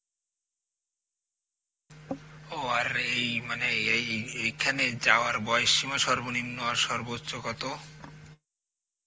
ও আর এই মানে এই~ এইখানে যাওয়ার বয়স সীমা সর্বনিম্ন আর সর্বোচ্চ কত?